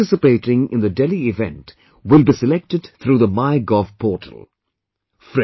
Students participating in the Delhi event will be selected through the MyGov portal